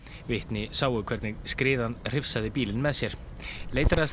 vitni sáu hvernig skriðan hrifsaði bílinn með sér